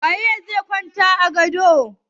Wane ne zai kwanta a gadon?